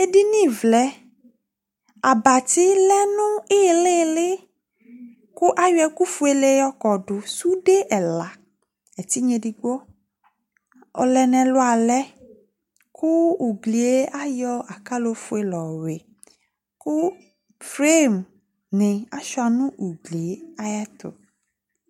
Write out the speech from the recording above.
ɛdinivle ɑbati leniyili kayo ɛkufue yokɔdu ɛtinyiedigbo ɔleneluale ku ugrie ɑyo ɑkalo fue lɔhui kuflim ni ɔcheanugrie ɑyetu